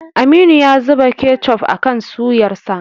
Aminu ya zuba kechof akan suyarsa.